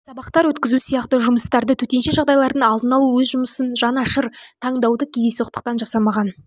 сабақтар өткізу сияқты жұмыстарды төтенше жағдайлардың алдын алу өз жұмысына жан ашыр таңдауды кездейсоқтықтан жасамаған